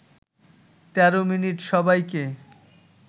১৩ minute সবাইকে